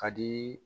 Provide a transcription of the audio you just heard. Ka di